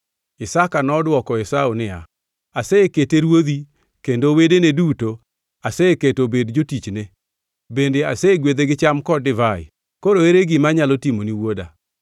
Isaka nodwoko Esau niya, “Asekete ruodhi kendo wedene duto aseketo obed jotichne bende asegwedhe gi cham kod divai. Koro ere gima anyalo timoni wuoda?”